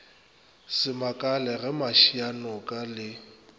se makale ge mašianoke le